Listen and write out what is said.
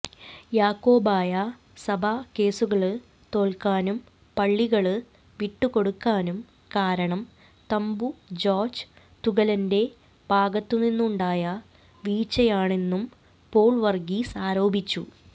യാക്കോബായ സഭ കേസുകള് തോല്ക്കാനും പള്ളികള് വിട്ടുകൊടുക്കാനും കാരണം തമ്പു ജോര്ജ് തുകലന്റെ ഭാഗത്തുനിന്നുണ്ടായ വീഴ്ചയാണെന്നും പോള് വര്ഗീസ് ആരോപിച്ചു